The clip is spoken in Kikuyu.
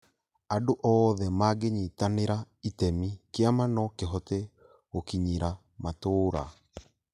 Andũ oothe mangĩnyitanĩra itemi, kĩama no kĩhote gũkinyĩra matũũra